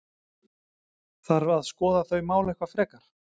Þarf að skoða þau mál eitthvað frekar?